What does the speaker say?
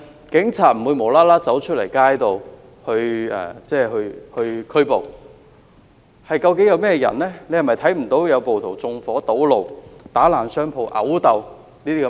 警察不會無故上街作出拘捕，他是否看不到暴徒縱火堵路、打爛商鋪、毆鬥等情況呢？